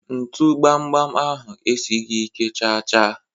ntu gbam gbam ahụ esighị ike chaa chaa.